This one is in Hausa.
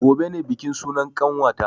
Gobe ne bikin sunan ƙanwata